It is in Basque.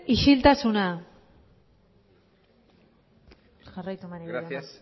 isiltasuna jarraitu maneiro jauna gracias